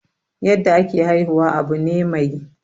yadda ake haihuwa Abu ne mai.